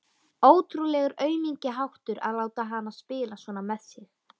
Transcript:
Ótrúlegur aumingjaháttur að láta hana spila svona með sig.